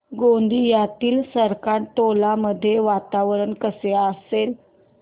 गोंदियातील सरकारटोला मध्ये वातावरण कसे असेल